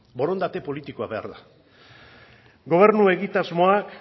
borondate politikoa behar da gobernu egitasmoak